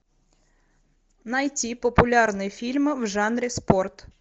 найти популярные фильмы в жанре спорт